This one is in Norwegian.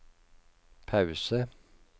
pause